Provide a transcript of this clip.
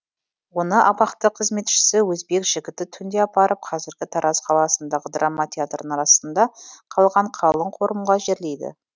оны абақты қызметшісі өзбек жігіті түнде апарып қазіргі тараз қаласындағы драма театрының астында қалған қалың қорымға жерлейді